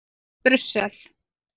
Brussel